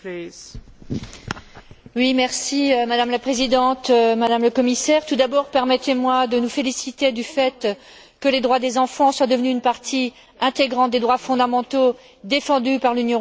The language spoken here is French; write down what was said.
Madame la Présidente, Madame le Commissaire, tout d'abord permettez moi de nous féliciter du fait que les droits des enfants soient devenus une partie intégrante des droits fondamentaux défendus par l'Union européenne grâce à l'entrée en vigueur du traité de Lisbonne.